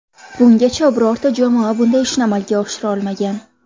Bungacha birorta jamoa bunday ishni amalga oshira olmagan.